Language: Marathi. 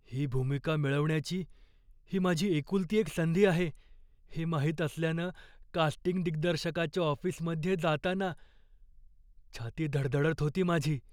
ही भूमिका मिळवण्याची ही माझी एकुलती एक संधी आहे हे माहित असल्यानं कास्टिंग दिग्दर्शकाच्या ऑफिसमध्ये जाताना छाती धडधडत होती माझी.